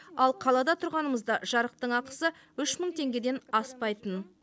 ал қалада тұрғанымызда жарықтың ақысы үш мың теңгеден аспайтын